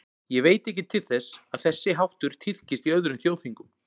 Ég veit ekki til þess, að þessi háttur tíðkist í öðrum þjóðþingum.